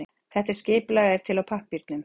Þetta skipulag er til á pappírnum.